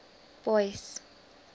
boyce